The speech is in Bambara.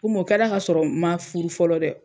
Komu o kɛra ka sɔrɔ n ma furu fɔlɔ dɛ.